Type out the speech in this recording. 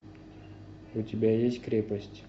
у тебя есть крепость